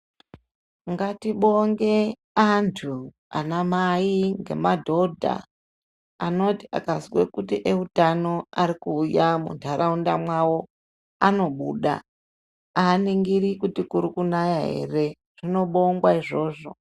Ngatibonge anthu anamai ngemadhodha anoti akazwe kuti eutano ari kuuya muntharaunda mwawo anobuda, aaningiri kuti kuri kunaya ere. Zvinobongwa, izvozvo.